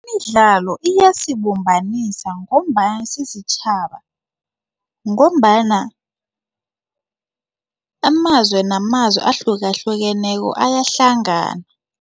Imidlalo iyasibumbanisa ngombana sisitjhaba ngombana amazwe namazwe ahlukahlukeneko ayahlangana.